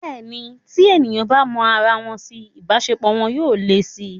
Bẹ́ẹ̀ni, tí èèyàn bá mọ ara wọn si, ìbáṣepọ̀ wọn yóò le si